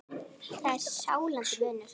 Það er sláandi munur.